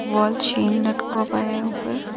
Wall chain लटकों वाया है ऊपर।